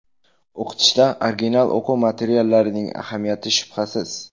O‘qitishda original o‘quv materiallarining ahamiyati shubhasiz.